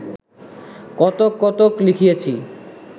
কতক কতক লিখিয়াছি